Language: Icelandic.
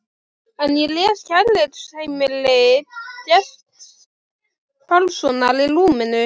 En ég les Kærleiksheimili Gests Pálssonar í rúminu.